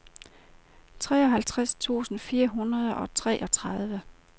treoghalvtreds tusind fire hundrede og treogtredive